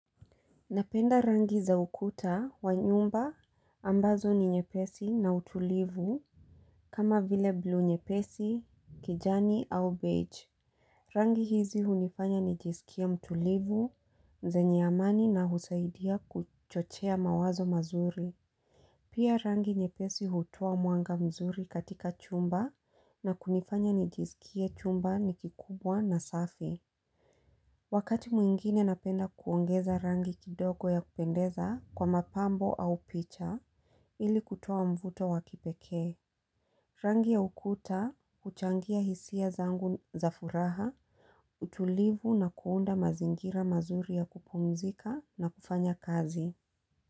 Napenda rangi za ukuta wa nyumba ambazo ni nyepesi na utulivu kama vile blue nyepesi kijani au beige. Rangi hizi hunifanya nijisikia mtulivu zenye amani na husaidia kuchochea mawazo mazuri. Pia rangi nyepesi hutoa mwanga vizuri katika chumba na kunifanya nijisikia chumba ni kikubwa na safi. Wakati mwingine napenda kuongeza rangi kidogo ya kupendeza kwa mapambo au picha ili kutoa mvuto wa kipekee. Rangi ya ukuta, huchangia hisia zangu za furaha, utulivu na kuunda mazingira mazuri ya kupumzika na kufanya kazi.